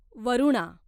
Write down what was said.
Varuna